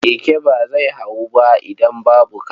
Keke ba zai hawu ba idan babu kaca.